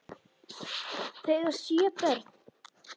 Þau eiga sjö börn.